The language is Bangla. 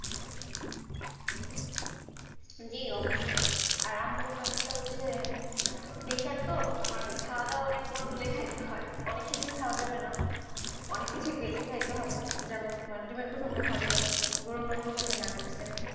জী অবশ্যই, আর আম্মুর ব্যাপারটা হচ্ছে, pressure তো তোমার খাওয়া দাওয়া অনেক control এ খাইতে হয়, অনেক কিছুই খাওয়া যাবে না, অনেক কিছুই বেছে খাইতে হবে, যেমন তোমার ডিমের কুসুমটা খাওয়া যাবে না, গোরুর মাংস খাইতে মানা করছে,